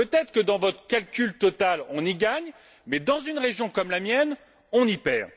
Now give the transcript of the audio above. Peut être que dans votre calcul total on y gagne, mais dans une région comme la mienne, on y perd.